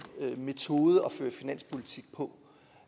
metode at føre finanspolitik på